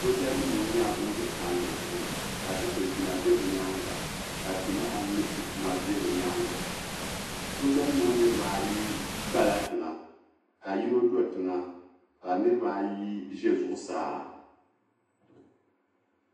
Sooja nim ŋɔ yɛla bani bɛ palli zuɣu ka dikligina bɛ bi yɛanga ka ti maha mini ti kuma bɛ bi yɛanga sooja nim ŋɔ niriba ayi gbala tiŋa ka yino so tiŋa ka niriba ayi zɛ zuɣusaa.